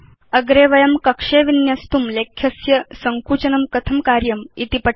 अग्रे वयं कक्षे विन्यस्तुं लेख्यस्य सङ्कुचनं कथं कार्यमिति पठिष्याम